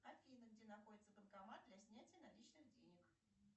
афина где находится банкомат для снятия наличных денег